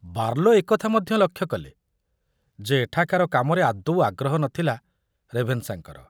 Barlow ଏ କଥା ମଧ୍ୟ ଲକ୍ଷ୍ୟ କଲେ ଯେ ଏଠାକାର କାମରେ ଆଦୌ ଆଗ୍ରହ ନ ଥିଲା ରେଭେନଶାଙ୍କର।